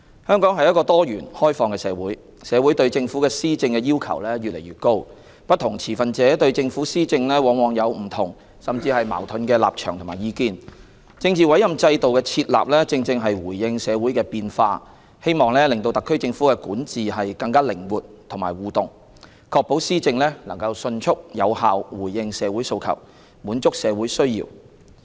香港是一個多元、開放的社會，社會對政府施政的要求越來越高，不同持份者對政府施政往往有不同甚至矛盾的立場和意見，政治委任制度的設立，正正是回應社會的變化，希望令特區政府的管治更靈活和互動，確保施政能迅速有效回應社會訴求、滿足社會需要。